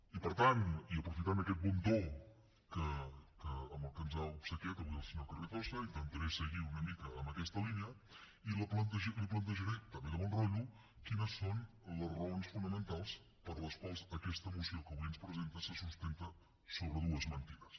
i per tant i aprofitant aquest bon to amb el que ens ha obsequiat avui el senyor carrizosa intentaré seguir una mica amb aquesta línia i li plantejaré també de bon rotllo quines són les raons fonamentals per les quals aquesta moció que avui ens presenta se sustenta sobre dues mentides